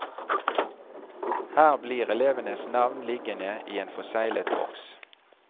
Her blir elevenes navn liggende i en forseglet boks.